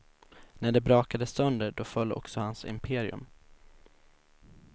När det brakade sönder då föll också hans imperium.